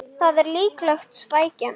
Það er líklega svækjan